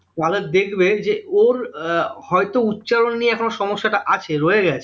তাহলে দেখবে যে ওর আহ হয়তো উচ্চারণ নিয়ে এখনো সমস্যাটা আছে রয়ে গেছে